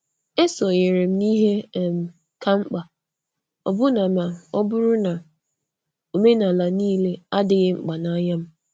E sonyeere m n' ihe kà mkpa, ọbụna ma ọ bụrụ na omenala niile adịghị mkpa adịghị mkpa n’anya m.